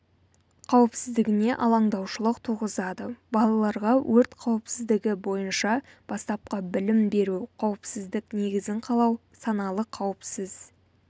қауіпсіздігіне алаңдаушылық туғызады балаларға өрт қауіпсіздігі бойынша бастапқы білім беру қауіпсіздік негізін қалау саналы қауіпсіз